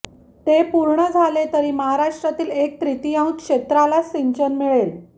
ते पूर्ण झाले तरी महाराष्ट्रातील एक तृतियांश क्षेत्रालाच सिंचन मिळेल